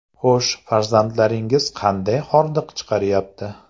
Xo‘sh, farzandlaringiz qanday hordiq chiqaryapti?